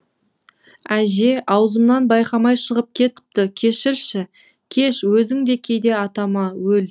әже аузымнан байқамай шығып кетіпті кешірші кеш өзің де кейде атама өл